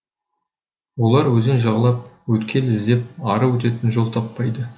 олар өзен жағалап өткел іздеп ары өтетін жол таппайды